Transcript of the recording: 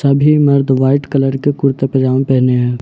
सभी मर्द white colour के कुर्ते पजामे पहने हैं।